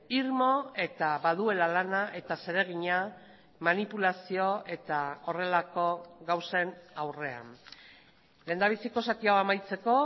irmo eta baduela lana eta zeregina manipulazio eta horrelako gauzen aurrean lehendabiziko zati hau amaitzeko